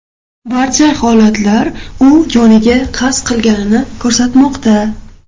Barcha holatlar u joniga qasd qilganini ko‘rsatmoqda.